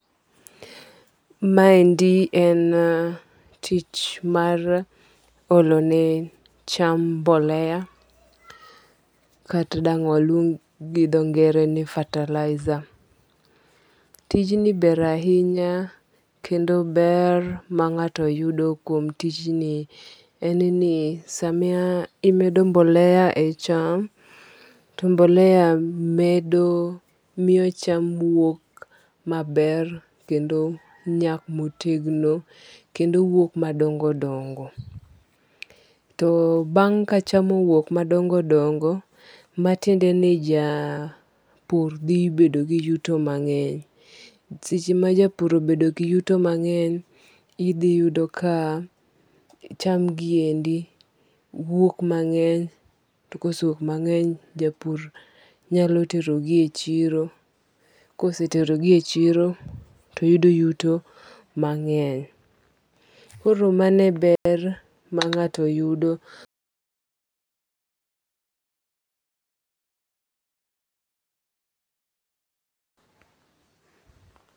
Ma endi en tich mar olo ne cham mbolea. Kata dang' waluong go dho ngere ni fertilizer. Tij ni ber ahinya kendo ber ma ng'ato yudo kuom tijni en ni sami emedo mbolea e cham to mbolea medo miyo cham wuok maber kendo nyak motegno kendo wuok madongo dongo. To bang' ka cham owuok madongo dongo matiende ni japur dhi bedo gi yuto mang'eny. Seche ma japur obedo gi yuto mang'eny, idhi yudo ka cham gi endi wuok mang'eny. To kose wuok mang'eny, japur nyalo tero gi e chiro. Kosetero gi e chiro to yudo yuto mang'eny. Koro mano e ber ma ng'ato yudo.